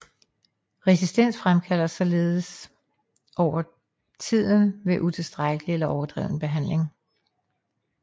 Resistens fremkaldes således over tiden ved utilstrækkelig eller overdreven behandling